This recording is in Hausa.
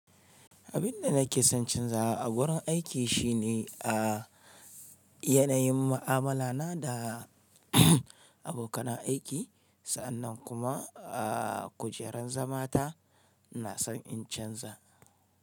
Abin da nake son canza a wurin aiki shine a yanayin mu'amala na da abokan aiki. Sa'annan kuma a kujerar zamata na son in canza.